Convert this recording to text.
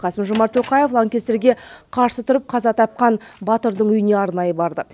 қасым жомарт тоқаев лаңкестерге қарсы тұрып қаза тапқан батырдың үйіне арнайы барды